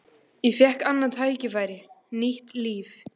Ég fékk annað tækifæri, nýtt líf.